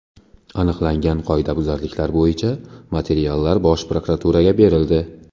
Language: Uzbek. Aniqlangan qoidabuzarliklar bo‘yicha materiallar Bosh prokuraturaga berildi.